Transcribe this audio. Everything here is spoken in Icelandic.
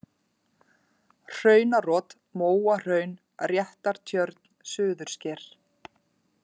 Hraunarot, Móahraun, Réttartjörn, Suðursker